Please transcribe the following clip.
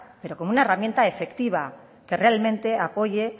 pero como una herramienta efectiva que realmente apoye